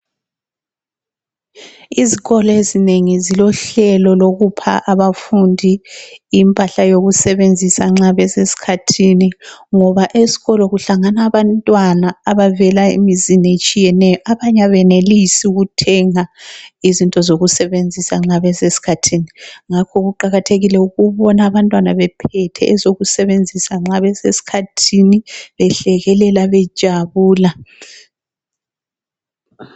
Izikolo ezinengi zilohlelo lokupha abafundi impahla yokusebenzisa nxa besesikhathini ngoba esikolo kuhlanganaa abantwana abavela emizini etshiyeneyo. Abanye abenelisi ukuthenga izinto zokusebenzisa nxa besesikhathini. Ngakho kuqakathekile ukubona abantwana bephethe ezokusebenzisa nxa besesikhathini behlekelela bejabula.